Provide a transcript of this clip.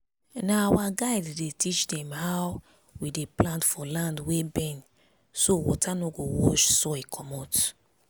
na our guide dey teach dem how we dey plant for land wey bend so water no go wash soil comot